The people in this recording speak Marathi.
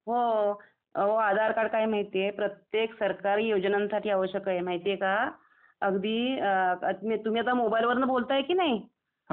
हो.. अहो आधार कार्ड काय माहिती आहे प्रत्येत सरकारी योजनांसाठी आवश्यक आहे माहिती आहे का? अगदी तुम्ही आता मोबाईल वरनं बोलताय कि नई